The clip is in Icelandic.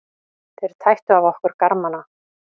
Þeir tættu af okkur garmana.